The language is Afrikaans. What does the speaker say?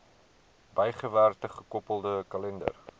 bygewerkte gekoppelde kalender